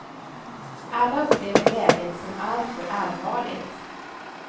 Alla upplever läget som alltför allvarligt.